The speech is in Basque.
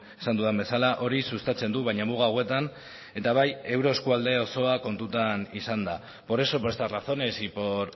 esan dudan bezala hori sustatzen du baina muga hauetan eta bai euro eskualde osoa kontutan izanda por eso por estas razones y por